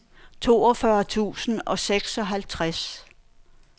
toogfyrre tusind og seksoghalvtreds